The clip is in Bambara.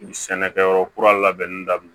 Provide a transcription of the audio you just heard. Sɛnɛkɛyɔrɔ kura labɛnni daminɛ